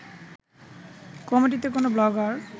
কমিটিতে কোনো ব্লগার